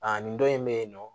Aa nin dɔ in bɛ yen nɔ